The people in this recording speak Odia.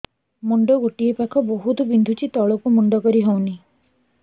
ମୁଣ୍ଡ ଗୋଟିଏ ପାଖ ବହୁତୁ ବିନ୍ଧୁଛି ତଳକୁ ମୁଣ୍ଡ କରି ହଉନି